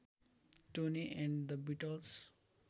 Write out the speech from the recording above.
Tony and the Beatles